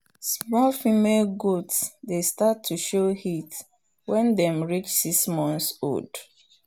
small female goat dey start to show heat when dem reach six months old.